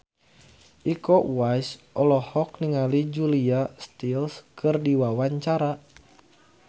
Iko Uwais olohok ningali Julia Stiles keur diwawancara